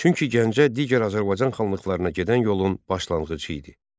Çünki Gəncə digər Azərbaycan xanlıqlarına gedən yolun başlanğıcı idi.